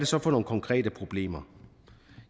så for nogle konkrete problemer